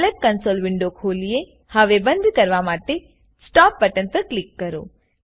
Scilab console window खोलिएહવે બંદ કરવા માટે Stopબટન પર ક્લિક કરો